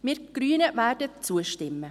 Wir Grünen werden zustimmen.